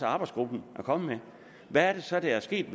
arbejdsgruppen er kommet med hvad er det så der er sket